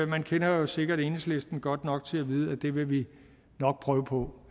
man kender jo sikkert enhedslisten godt nok til at vide at det vil vi nok prøve på